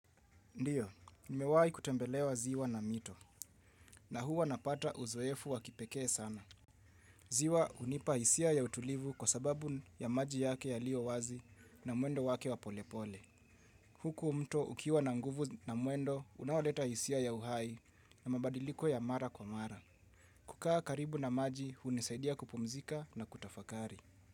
Ndiyo, nimewahi kutembelewa ziwa na mito na huwa napata uzoefu wa kipekee sana. Ziwa hunipa hisia ya utulivu kwa sababu ya maji yake yaliyo wazi na mwendo wake wa polepole. Huku mto ukiwa na nguvu na mwendo unaoleta hisia ya uhai na mabadiliko ya mara kwa mara. Kukaa karibu na maji hunisaidia kupumzika na kutafakari.